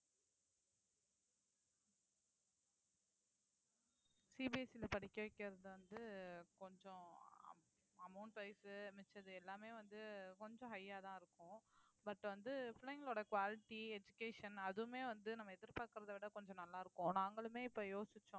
CBSE ல படிக்க வைக்கிறது வந்து கொஞ்சம் amo~ amount wise உ மிச்சது எல்லாமே வந்து கொஞ்சம் high ஆ தான் இருக்கும் but வந்து பிள்ளைங்களோட quality, education அதுவுமே வந்து நம்ம எதிர்பார்க்கிறதை விட கொஞ்சம் நல்லா இருக்கும் நாங்களுமே இப்ப யோசிச்சோம்